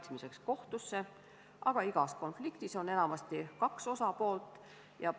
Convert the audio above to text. Tasuvad töökohad ja sotsiaalne turvalisus Ida-Virumaa tööstuslinnades on Eesti julgeoleku seisukohalt sama olulised kui radarid.